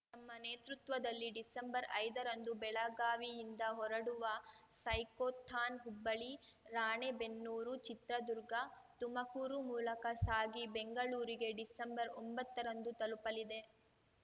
ಮ್ಮ ನೇತೃತ್ವದಲ್ಲಿ ಡಿಸೆಂಬರ್ಐದರಂದು ಬೆಳಗಾವಿಯಿಂದ ಹೊರಡುವ ಸೈಕೋಥಾನ್‌ ಹುಬ್ಬಳಿ ರಾಣೆಬೆನ್ನೂರು ಚಿತ್ರದುರ್ಗ ತುಮಕೂರು ಮೂಲಕ ಸಾಗಿ ಬೆಂಗಳೂರಿಗೆ ಡಿಸೆಂಬರ್ಒಂಬತ್ತರಂದು ತಲುಪಲಿದೆ